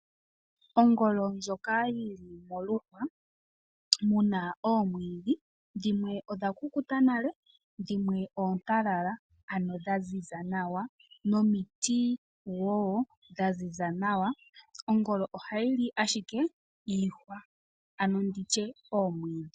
Ongolo ndjoka oyili moluhwa omuna oomwiidhi dhimwe odha kukuta nale dhimwe oontalala ano dhaziza nawa nomiti wo dhaziza nawa. Ongolo ohayi li ashike iihwa ano nditye omwiidhi.